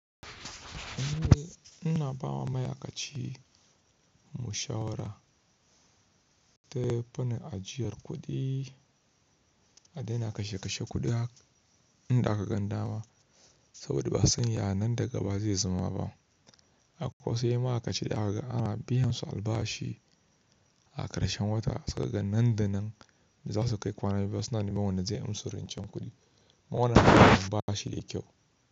Eh ina bawa ma'aikaci mashawarar ta fi na ajiyar kuɗi, a daina kashe kashe kuɗi inda aka ganda wa, saboda ba sanya nan da gaba zai zama ba. Akwai wasu yan ma'aikaci da aka ga ana biyan su albashi a karshen wata sa ka ga nan da nan za su kai kwana biyu suna neman wanda zai amsu rencen kuɗi. Kuma wannan abun ba shi da kyau.